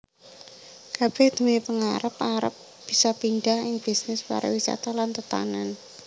Kabeh nduwé pengarep arep bisa pindah ing bisnis pariwisata lan tetanen